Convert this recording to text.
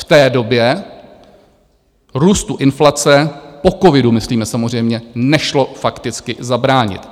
V té době růstu inflace - po covidu myslíme samozřejmě - nešlo fakticky zabránit.